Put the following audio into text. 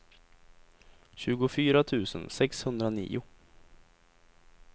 tjugofyra tusen sexhundranio